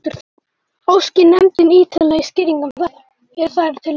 Óski nefndin ýtarlegri skýringa um þetta, eru þær til reiðu.